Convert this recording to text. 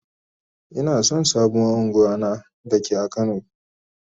Ina son sabon ungwan na da ke a kano.